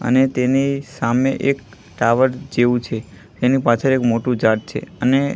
અને તેની સામે એક ટાવર જેવુ છે એની પાછળ એક મોટુ ઝાડ છે અને--